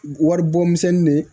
Waribɔmisɛnnin de